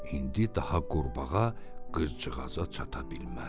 İndi daha qurbağa qızcığaza çata bilməzdi.